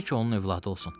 Tək onun övladı olsun.